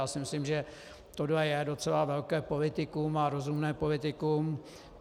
Já si myslím, že tohle je docela velké politikum, a rozumné politikum.